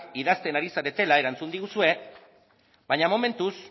idazten ari zaretela erantzun diguzue baina momentuz